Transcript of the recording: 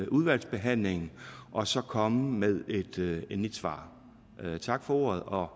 udvalgsbehandlingen og så komme med et endeligt svar tak for ordet og